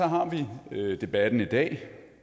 har vi debatten i dag